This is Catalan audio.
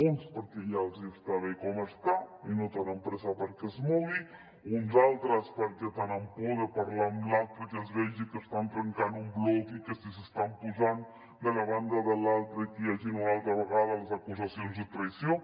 uns perquè ja els està bé com està i no tenen pressa perquè es mogui uns altres perquè tenen por de parlar amb l’altre i que es vegi que estan trencant un bloc i que si s’estan posant de la banda de l’altre hi hagin una altra vegada les acusacions de traïció